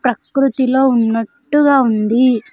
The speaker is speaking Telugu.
ప్రకృతిలో ఉన్నట్టుగా ఉంది.